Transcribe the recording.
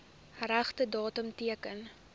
regte datum teken